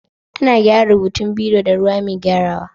Ana gyaran rubutun biro da ruwa mai gyarawa.